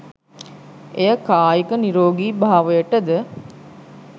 එය කායික නිරෝගී භාවයට ද